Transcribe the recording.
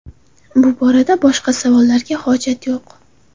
Bu borada boshqa savollarga hojat yo‘q.